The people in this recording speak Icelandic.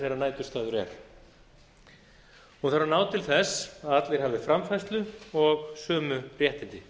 þeirra næturstaður er hún þarf að ná til þess að allir hafi framfærslu og sömu réttindi